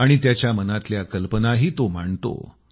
आणि त्याच्या मनातल्या कल्पनाही तो मांडतो